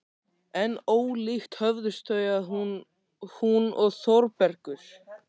En ólíkt höfðust þau að, hún og Þórbergur.